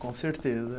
Com certeza.